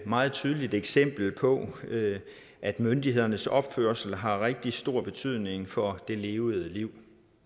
meget tydeligt eksempel på at myndighedernes opførsel har rigtig stor betydning for det levede liv